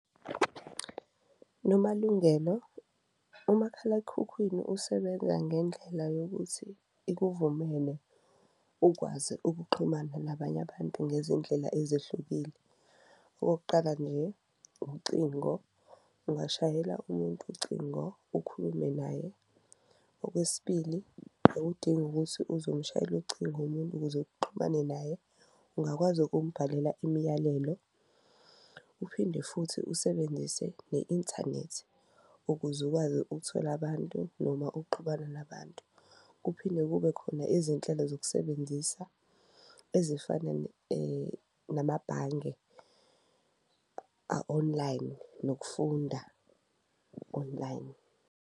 Nomalungelo umakhalakhukhwini usebenza ngendlela yokuthi ikuvumele ukwazi ukuxhumana nabanye abantu ngezindlela ezehlukile, okokuqala nje ucingo, ungashayela umuntu ucingo ukhulume naye. Okwesibili, awudingi ukuthi uze ushayele ucingo umuntu ukuze uxhumane naye, ungakwazi ukumbhalela imiyalelo uphinde futhi usebenzise ne-inthanethi ukuze ukwazi ukuthola abantu noma ukuxhumana nabantu. Kuphinde kube khona izinhlelo zokusebenzisa ezifana namabhange a-online nokufunda online.